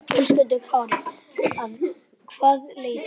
Höskuldur Kári: Að hvaða leyti?